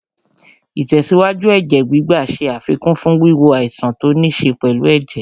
Ìtẹ̀síwájú Ẹ̀jẹ̀ gbígbà ṣe àfikún fún wíwo àìsàn tó níṣe pẹ̀lú ẹ̀jẹ̀